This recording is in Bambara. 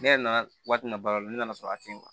Ne yɛrɛ na na wari min na ba lo ne nana sɔrɔ a ten